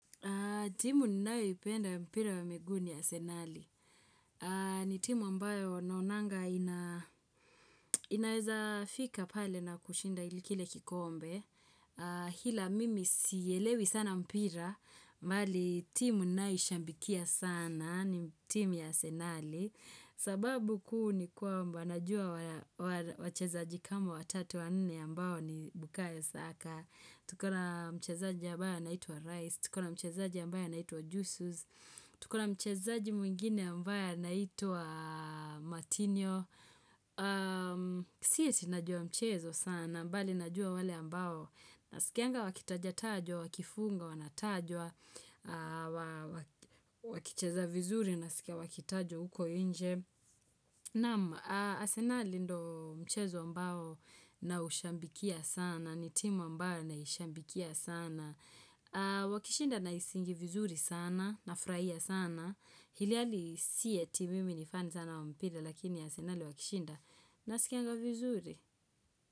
Timu ninayo ipenda ya mpira wa miguu ni asenali. Ni timu ambayo naonanga ina inaweza fika pale na kushinda ili kile kikombe. Hila mimi sielewi sana mpira, mali timu ninaishambikia sana ni timu ya asenali. Sababu kuu ni kwamba najua wa wachezaji kama watatu wanne ambayo ni Bukayo Saka. Tuko na mchezaji ambaye anaitwa Rice, tuko na mchezaji ambaye anaitwa Jeusus, tuko na mchezaji mwingine ambaye anaitwa Martinio. Si eti najua mchezo sana, mbali najua wale ambao. Sikianga wakitajatajwa, wakifunga wanatajwa, wa waki wakicheza vizuri nasikia wakitajo uko inje. Naam, asenali ndo mchezo mbao naushambikia sana, ni timu mbao na ushambikia sana. Wakishinda na isingi vizuri sana, nafraia sana. Hili hali sieti mimi ni fan sana wa mpira lakini asenali wakishinda naskianga vizuri.